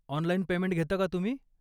Online payment घेता का तुम्ही?